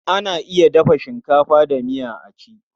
Ana iya dafa shinkafa da miya a ci.